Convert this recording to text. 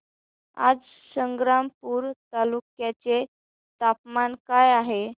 आज संग्रामपूर तालुक्या चे तापमान काय आहे